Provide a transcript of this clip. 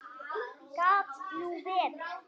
Gat nú verið!